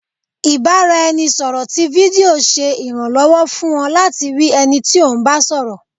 ibaraẹnisọrọ tí fídío ṣe iranlọwọ fún ọ latí rii ẹni tí o ń bá sọrọ.